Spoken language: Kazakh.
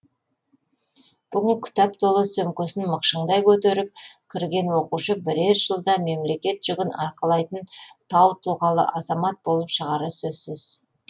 бүгін кітап толы сөмкесін мықшыңдай көтеріп кірген оқушы бірер жылда мемлекет жүгін арқалайтын тау тұлғалы азамат болып шығары сөзсіз